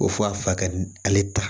Ko f'a fa ka ale ta